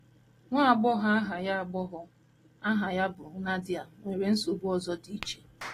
Nwa agbọghọ aha ya agbọghọ aha ya bụ Nadia nwere nsogbu ọzọ dị iche.